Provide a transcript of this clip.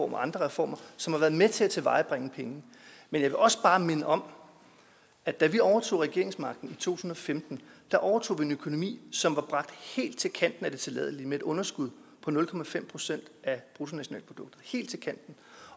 og andre reformer som har været med til at tilvejebringe penge men jeg vil også bare minde om at da vi overtog regeringsmagten i to tusind og femten overtog vi en økonomi som var bragt helt til kanten af det tilladelige med et underskud på nul procent af bruttonationalproduktet